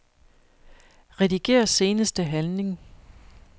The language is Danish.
Rediger seneste handling.